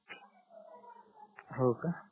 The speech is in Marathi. हो का